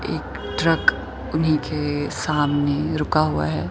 एक ट्रक उन्हीं के सामने रुका हुआ है।